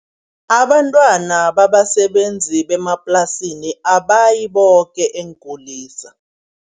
Abantwana babasebenzi bemaplasini abayi boke eenkulisa.